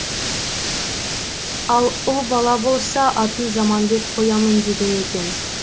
ал ұл бала болса атын заманбек қоямын деген екен